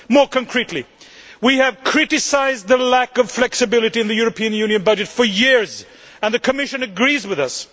More concretely, we have criticised the lack of flexibility in the European Union budget for years, and the Commission agrees with us.